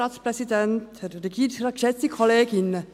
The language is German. Kommissionssprecherin der GSoK.